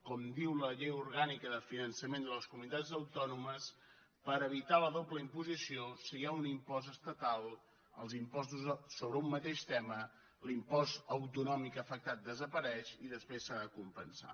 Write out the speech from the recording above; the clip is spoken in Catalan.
com diu la llei orgànica de finançament de les comunitats autònomes per evitar la doble imposició si hi ha un impost estatal els impostos sobre un mateix tema l’impost autonòmic afectat desapareix i després s’ha de compensar